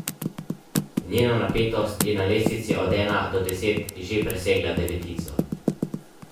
Njena napetost je na lestvici od ena do deset že presegla devetico.